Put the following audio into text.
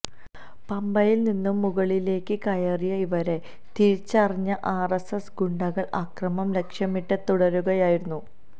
പമ്പയില് നിന്നും മുകളിലേക്ക് കയറിയ ഇവരെ തിരിച്ചറിഞ്ഞ ആര്എസ്എസ് ഗുണ്ടകള് ആക്രമം ലക്ഷ്യമിട്ട് തടയുകയായിരുന്നു